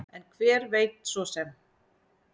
En hver veit svo sem?